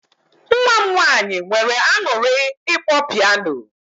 Nwa m nwaanyị nweere aṅụrị ịkpọ piano.